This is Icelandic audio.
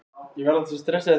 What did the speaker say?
Flugvélamóðurskip til Japans